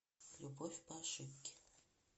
любовь по ошибке